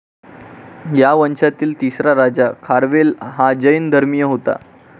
या वंशातील तिसरा राजा खारवेल हा जैन धर्मीय होता.